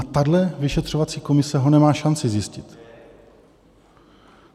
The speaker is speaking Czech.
A tahle vyšetřovací komise ho nemá šanci zjistit.